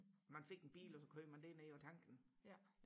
man fik en bil og så kørte man derned og tankede den